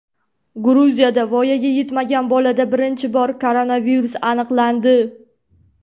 Gruziyada voyaga yetmagan bolada birinchi bor koronavirus aniqlandi.